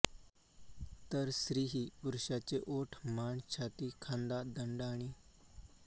तर स्त्री ही पुरुषाचे ओठ मान छाती खांदा दंड आणि